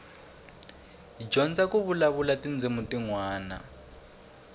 dyondza ku vulavula tindzimi tinwana